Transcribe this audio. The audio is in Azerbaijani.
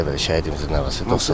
Bəli, bəli, şəhidimizin nəvəsidir.